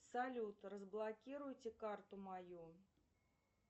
салют разблокируйте карту мою